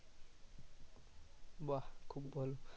বাহ খুব ভালো